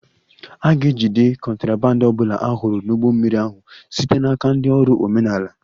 A ga-ejide contraband ọ bụla a hụrụ n'ụgbọ mmiri ahụ site n'aka ndị ọrụ omenala